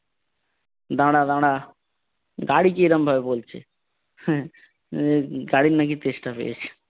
দাঁড়া দাঁড়া। গাড়িকে এরাম ভাবে বলছে হম গাড়ির নাকি তেষ্টা পেয়েছে।